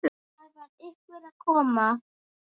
Það var einhver að koma!